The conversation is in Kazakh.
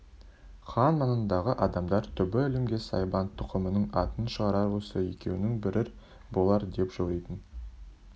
хан маңындағы адамдар түбі әлемге сайбан тұқымының атын шығарар осы екеуінің бірі болар деп жоритын